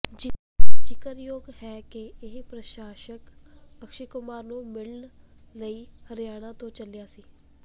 ਜ਼ਿਕਰਯੋਗ ਹੈ ਕਿ ਇਹ ਪ੍ਰਸ਼ੰਸਕ ਅਕਸ਼ੈ ਕੁਮਾਰ ਨੂੰ ਮਿਲਣ ਲਈ ਹਰਿਆਣਾ ਤੋਂ ਚਲਿਆ ਸੀ